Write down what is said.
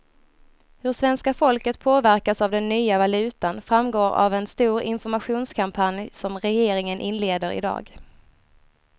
Hur svenska folket påverkas av den nya valutan framgår av en stor informationskampanj som regeringen inleder i dag.